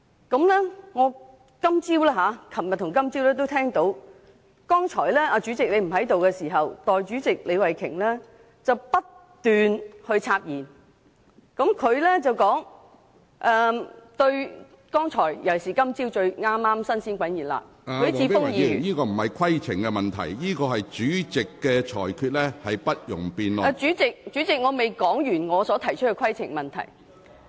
我在昨天及今天早上也留意到，當主席剛才不在席時，代理主席李慧琼議員不斷插言，她說對剛才——特別是今天早上，剛發言的許智峯議員......主席，我未說完我想提出的規程問題。